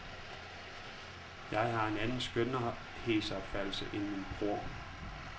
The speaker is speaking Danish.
Jeg har en anden skønhedsopfattelse end min bror.